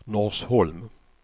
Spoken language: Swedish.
Norsholm